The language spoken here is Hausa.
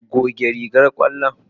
Goge rigar ƙwallo.